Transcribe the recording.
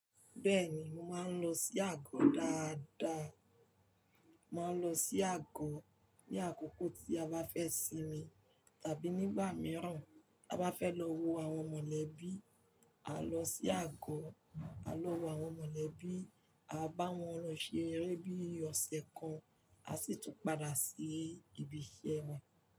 Bẹ́ẹ̀ni, mo máa ń lọ sí àgọ́ dáadáa. Mà n lọ sí àgọ́ ní àkókò tí a bá fẹ́ sinmi, tàbí nígbà mìíràn a bá fẹ́ lọ wo àwọn mọ̀lẹ́bí, à lọ sí àgọ́, à lọ wo àwọn mọ̀lẹ́bí, a bá wọn lọ ṣe eré bí i ọ̀sẹ̀ kan, a sì tún padà sí ibi iṣẹ́ wa.